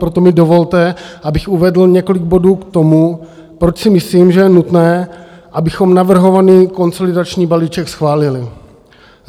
Proto mi dovolte, abych uvedl několik bodů k tomu, proč si myslím, že je nutné, abychom navrhovaný konsolidační balíček schválili.